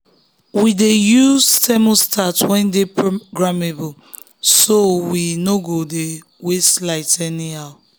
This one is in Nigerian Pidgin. um we dey use thermostat wey dey programmable so we um no go dey waste light anyhow.